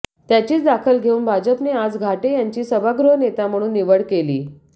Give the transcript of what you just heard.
त्याचीच दाखल घेऊन भाजपने आज घाटे यांची सभागृह नेता म्हणून निवड केली